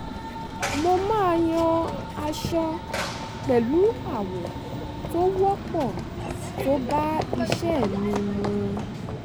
mo máa yan aṣọ pẹ̀lú àwọ̀ tó wọ́pọ̀ tó bá iṣẹ́ mi mu